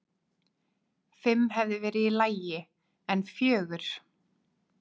Fimm hefði verið í lagi, en fjögur?!?!?